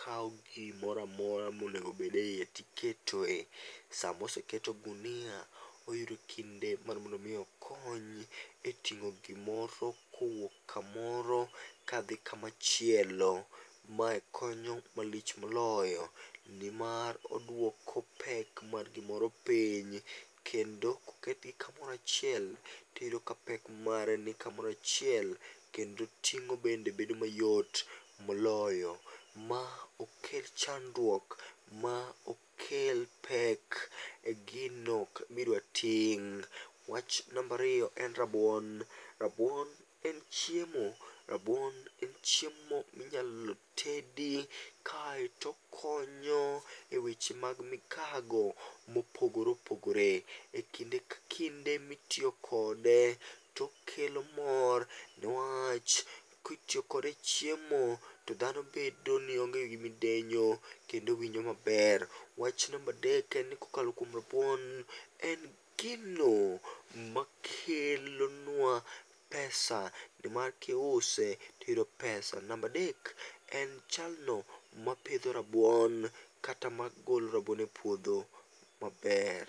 kaw gimoro amora monego bed eiye to iketo eiye tosama oseket ogunia to oyudo kinde mar mon do mi okony e ting'o gimoro kowuok kamoro kadhi kamachielo. Mae konyo malich moloyo nimar oduoko pek mar gimoro piny kendo koketgi kamoro achiel to iyudo kapek mare nikamoro achiel kendo ting'o bende bedo mayot moloyo. Ma okel chandruok, ma okel pek e gino midwa ting'. Wach namba ariyo en rabuon, rabuon en chiemo. Rabuon en chiemo minyalo tedi aeto okonyo eweche mag migago mopogore opogore. Ekinde ka kinde mitiyo kode to okelo mor newach kitiyo kode e chiemo to dhano bedo nionge gi midenyo kendo winjo maber. Wach namba adek en ni kokalo kuom rabuon, en gino makelonua pesa, nimar kiuse to iyudo pesa. Namba adek, en jalno mapidho rabuon kata magolo rabuon epuodho maber.